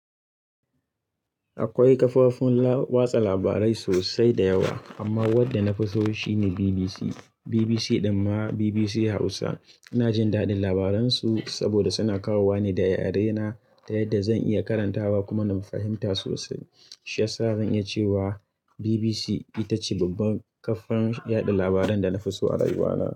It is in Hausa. Akwai kafofin watsa labarai sosai da yawa amma wanda na fi so shi ne BBC. BBC ɗin ma BBC Hausa. Ina jin daɗin labaran su saboda suna kawowa ne da yarena ta yadda zan iya karantawa kuma na fahimta sosai. Shi ya sa zan iya ce wa BBC ita ce babban kafar yaɗa labaran da na fi so a rayuwana.